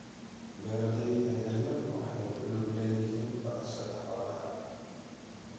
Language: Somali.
Beeralayda yaryar waxay ku lug leeyihiin dhaqashada xoolaha.